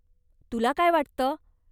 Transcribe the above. तुला काय वाटतं?